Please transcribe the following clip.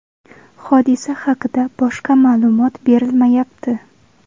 Hodisa haqida boshqa ma’lumot berilmayapti.